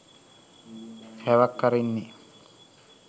හැවක් අරින්නෙ